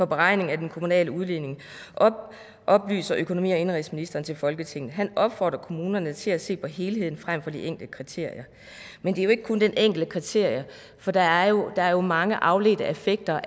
beregningen af den kommunale udligning oplyser økonomi og indenrigsministeren til folketinget han opfordrer kommunerne til at se på helheden fremfor de enkelte kriterier men det er jo ikke kun det enkelte kriterie for der er jo er jo mange afledte effekter